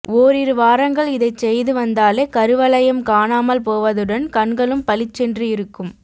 ஓரிரு வாரங்கள் இதைச் செய்து வந்தாலே கருவளையம் காணாமல் போவதுடன் கண்களும் பளிச்சென்று இருக்கும்